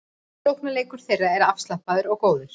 Sóknarleikur þeirra er afslappaður og góður